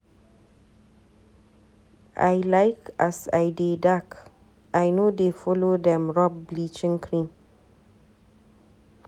I like as I dey dark, I no dey follow dem rob bleaching cream.